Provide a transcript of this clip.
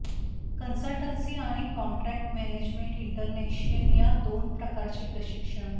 consultancy आणि contract management international या दोन प्रकारचे प्रशिक्षण